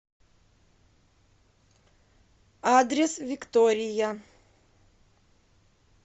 адрес виктория